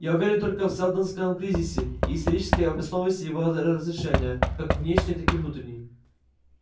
я уверен только в сэлдоновском кризисе и исторической обоснованности его разрешения как внешней так и внутренней